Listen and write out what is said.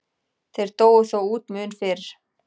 Þeir dóu þó út mun fyrr.